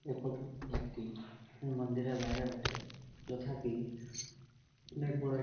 এই ফটো -টো একটি মন্দিরের বাইরে বটে যথা কি অনেক বড় এক --